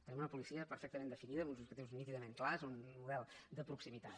tenim una policia perfectament definida amb uns objectius nítidament clars un model de proximitat